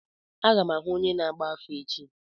Aga m ahụ onye na-agba afa echi.